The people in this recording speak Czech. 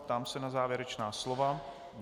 Ptám se na závěrečná slova.